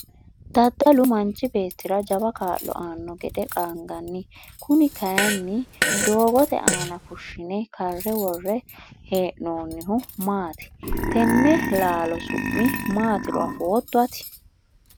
daddalu manchi beettira jawa kaa'lo aanno gede qaanganni' kuni kayiinni doogote aana fushshine karre worre hee'noonnihu maati? tenne laalo su'mi maatiro afootto ati?